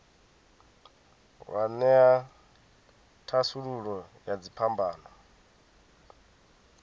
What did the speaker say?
wa ṅea thasululo ya dziphambano